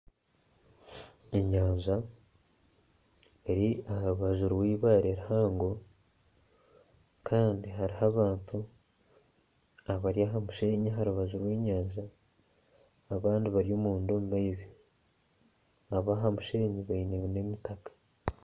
Enyanja eri aharubaju rw'ibare rihango kandi haruho abantu abari aha'mushenyi aharubaju rw'enyanja abandi bari omunda omumaizi abaha mushenyi baine n'emitaka.